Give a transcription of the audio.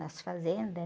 Nas fazendas